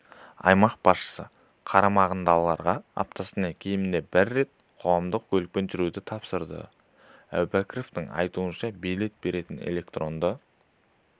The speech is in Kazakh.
аймақ басшысы қарамағындағыларға аптасына кемінде бір рет қоғамдық көлікпен жүруді тапсырды әубәкіровтің айтуынша билет беретін электронды